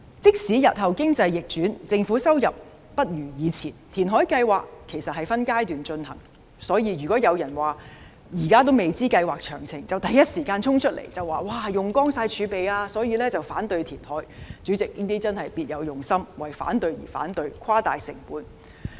即使日後經濟逆轉，政府收入大不如前，填海計劃其實是分階段進行的，所以，現時還未知道計劃詳情便第一時間衝出來指計劃會花光儲備，因而反對填海，這樣真是別有用心，為反對而反對，誇大成本。